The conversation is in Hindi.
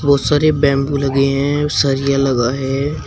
बहुत सारे बंबू लगे हैं सरिया लगा है।